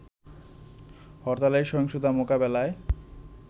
হরতালে সহিংসতা মোকাবেলায়